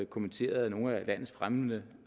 kommenteret af nogle af landets fremmeste